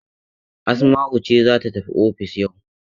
Asma'u ce za ta tafi ofis yau.